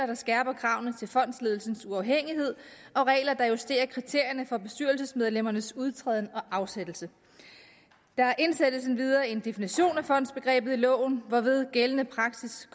der skærper kravene til fondsledelsens uafhængighed og regler der justerer kriterierne for bestyrelsesmedlemmernes udtræden og afsættelse der indsættes endvidere en definition af fondsbegrebet i loven hvorved gældende praksis